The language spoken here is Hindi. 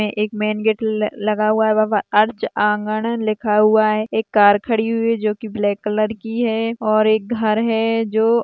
एक मेन गेट ल-लगा हुआ है व-वहां आर्च आँगण लिखा हुआ है एक कार खड़ी हुई है जो की ब्लैक कलर की है और एक घर है जो--